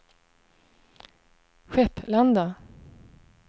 Skepplanda